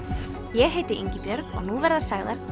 ég heiti Ingibjörg og nú verða sagðar